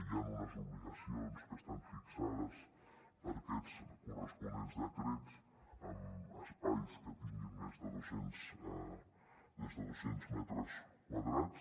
hi han unes obligacions que estan fixades per corresponents decrets en espais que tinguin més de dos cents metres quadrats